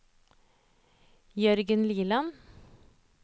Jørgen Liland